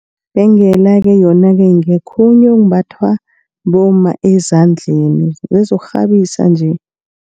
Ibhengela-ke yona-ke ngokhunye okumbathwa bomma ezandleni ngezokukghabisa nje.